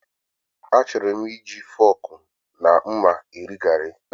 Achọrọ m iji fọọkụ na mma eri gari.